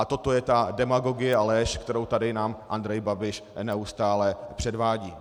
A toto je ta demagogie a lež, kterou nám tady Andrej Babiš neustále předvádí.